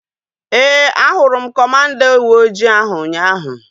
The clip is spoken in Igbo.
Ee, a hụrụ m kọmanda uweojii ahu ụnyaahụ